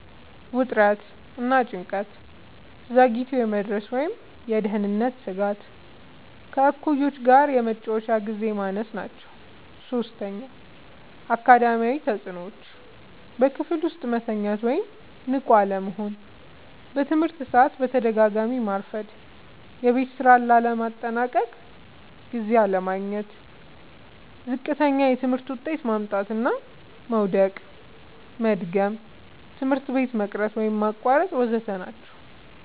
ውጥረት እና ጭንቀት፣ ዘግይቶ የመድረስ ወይም የደህንነት ስጋት፣ ከእኩዮች ጋር የመጫወቻ ግዜ ማነስ ናቸዉ። ፫. አካዳሚያዊ ተጽዕኖዎች፦ · በክፍል ውስጥ መተኛት ወይም ንቁ አለመሆን፣ በትምህርት ሰዓት በተደጋጋሚ ማርፈድ፣ የቤት ስራ ለማጠናቀቅ ጊዜ አለማግኘት፣ ዝቅተኛ የትምህርት ውጤት ማምጣት፣ መዉደቅና መድገም፣ ትምህርት ቤት መቅረት ወይም ማቋረጥ ወ.ዘ.ተ ናቸዉ።